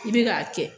I bɛ k'a kɛ